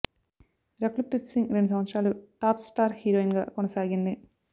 రకుల్ ప్రీత్ సింగ్ రెండు సంవత్సరాలు top star హీరోయిన్గా కొనసాగింది